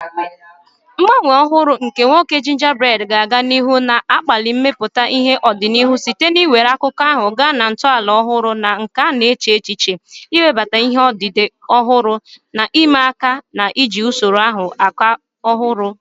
Ngbanwe ọhụrụ nke nwoke Gingerbread ga-aga n'ihu na-akpali mmepụta ihe n'ọdịnihu site n'iwere akụkọ ahụ gaa na ntọala ọhụrụ na nke a na-eche n'echiche, iwebata ihe odide ọhụrụ na ihe ịma aka, na iji usoro ịkọ akụkọ ọhụrụ.